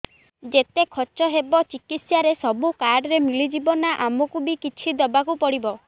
ଯେତେ ଖର୍ଚ ହେବ ଚିକିତ୍ସା ରେ ସବୁ କାର୍ଡ ରେ ମିଳିଯିବ ନା ଆମକୁ ବି କିଛି ଦବାକୁ ପଡିବ